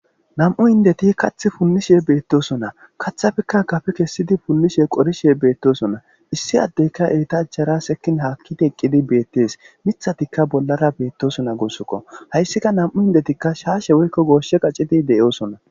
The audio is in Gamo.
Namm'u indeti kaththi punnishe beetosonna. Kathappekka gafe punnishe,qorishe beetosonna. Issi addeykka eeta achchara sekkin haakidi eqqidi beetes. Miththatikka bollara beetosonna guusukko. Hayssikka namm'u inddetikka shaashe woykko goose qacidi de'osonna.